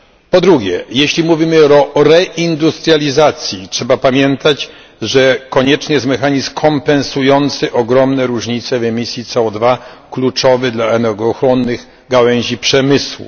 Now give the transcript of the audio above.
Po drugie, jeśli mówimy o reindustrializacji, trzeba pamiętać, że konieczny jest mechanizm kompensujący ogromne różnice w emisji CO kluczowy dla energochłonnych gałęzi przemysłu.